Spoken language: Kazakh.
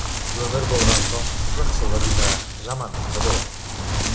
өмір болған соң жақсылық та жамандық та болады